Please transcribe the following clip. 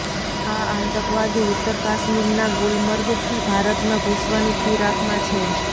આ આતંકવાદી ઉત્તર કાશ્મીરના ગુલમર્ગથી ભારતમાં ઘૂસવાની ફિરાકમાં છે